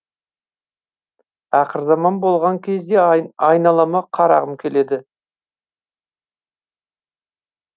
ақырзаман болған кезде айналама қарағым келеді